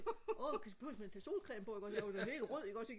åh behøves man og tage solcreme på ikke også jeg var jo helt rød ikke også ikke